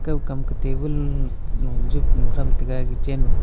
ukam ka tabun lo jeplo tham tega.